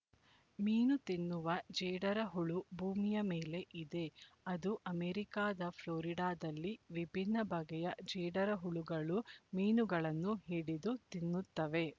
ಮೀನು ತಿನ್ನುವ ಜೇಡರಹುಳು ಭೂಮಿಯ ಮೇಲೆ ಇದೆ ಅದು ಅಮೆರಿಕದ ಫ್ಲಾರಿಡಾದಲ್ಲಿ ವಿಭಿನ್ನ ಬಗೆಯ ಜೇಡರಹುಳುಗಳು ಮೀನುಗಳನ್ನು ಹಿಡಿದು ತಿನ್ನುತ್ತವೆ